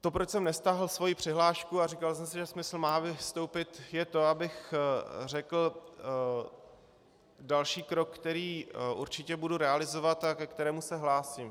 To, proč jsem nestáhl svoji přihlášku a říkal jsem si, že smysl má vystoupit, je to, abych řekl další krok, který určitě budu realizovat a ke kterému se hlásím.